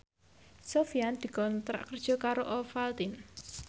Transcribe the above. Sofyan dikontrak kerja karo Ovaltine